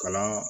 Kalan